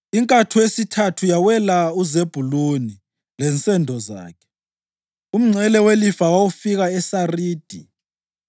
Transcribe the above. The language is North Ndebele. Inkatho yesithathu yawela uZebhuluni lensendo zakhe: Umngcele welifa labo wawufika eSaridi.